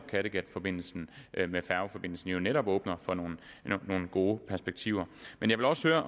kattegatforbindelsen med færgeforbindelsen jo netop åbne for nogle gode perspektiver men jeg vil også